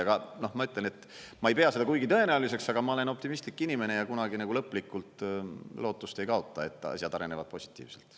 Aga ma ütlen, et ma ei pea seda kuigi tõenäoliseks, aga ma olen optimistlik inimene ja kunagi lõplikult lootust ei kaota, et asjad arenevad positiivselt.